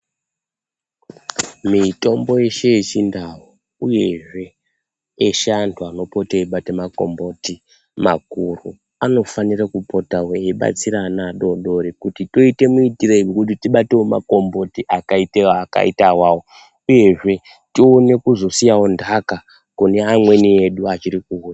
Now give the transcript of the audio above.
Mitombo yeshe yechindau uyezve eshe antu anopota eibata makomboti makuru anofanire kupotawo eibatsira ana adoodori kuti toite muitirei kuti tibatewo makomboti akaita awawo uyezve tione kuzosiyawo nhaka kune amweni edu achirikuuya.